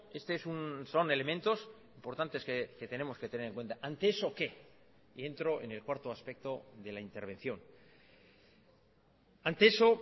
este es son elementos importantes que tenemos que tener en cuenta ante eso qué y entro en el cuarto aspecto de la intervención ante eso